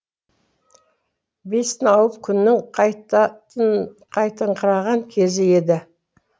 бесін ауып күннің қайтыңқыраған кезі еді